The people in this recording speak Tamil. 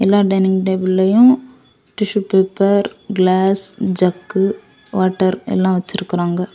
எல்லா டைனிங் டேபிளையும் tissue paper glass jug water எல்லாம் வச்சிருக்காங்க.